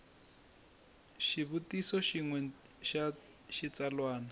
xivutiso xin we xa xitsalwana